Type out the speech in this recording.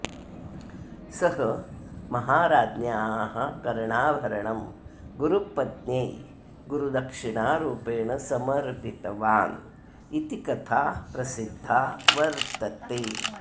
सः महाराज्ञ्याः कर्णाभरणं गुरुपत्न्यै गुरुदक्षिणारूपेण समर्पितवान् इति कथा प्रसिद्धा वर्तते